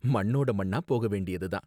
மண்ணோட மண்ணா போக வேண்டியது தான்